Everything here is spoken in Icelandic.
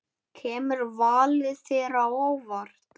Kemur valið þér á óvart?